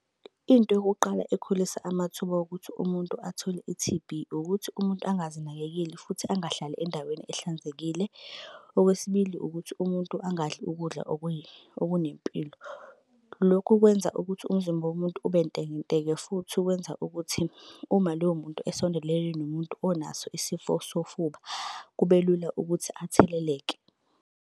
Into yokuqala ekhulisa amathuba okuthi umuntu athole i-T_B ukuthi umuntu angazinakekeli futhi angahlali endaweni ehlanzekile. Okwesibili ukuthi umuntu angadli ukudla okunempilo. Lokhu kwenza ukuthi umzimba womuntu ube ntekenteke futhi ukwenza ukuthi uma loyo muntu esondelene nomuntu onaso isifo sofuba kube lula ukuthi atheleleke.